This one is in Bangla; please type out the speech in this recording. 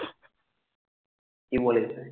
কি বলেছে?